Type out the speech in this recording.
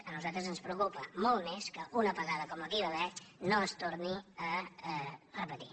a nosaltres ens preocupa molt més que una apagada com la que hi va haver no es torni a repetir